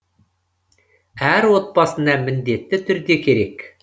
әр отбасына міндетті түрде керек